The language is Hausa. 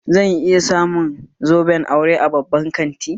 Zan iya samu zoben aure a babban kanti?